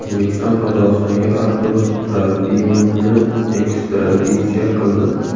O‘zbekiston Qozog‘istonga Artur Trofimovni ekstraditsiya qildi.